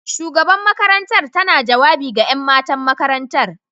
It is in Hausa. Shugaban makarantar tana jawabi ga 'yan matan makarantar.